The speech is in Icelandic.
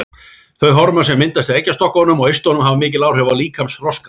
Þau hormón sem myndast í eggjastokkunum og eistunum hafa mikil áhrif á líkamsþroskann.